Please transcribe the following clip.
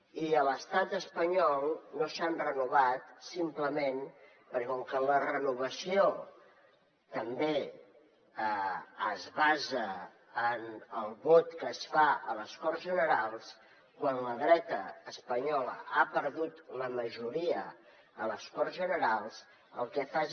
i a l’estat espanyol no s’han renovat simplement perquè com que la renovació també es basa en el vot que es fa a les corts generals quan la dreta espanyola ha perdut la majoria a les corts generals el que fa és